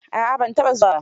A'a ban taɓa zuwa ba.